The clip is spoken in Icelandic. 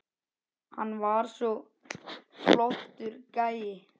Hann var svo flottur gæi.